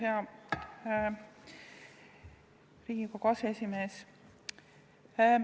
Hea Riigikogu aseesimees!